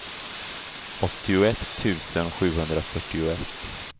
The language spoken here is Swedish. åttioett tusen sjuhundrafyrtioett